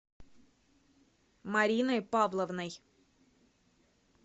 мариной павловной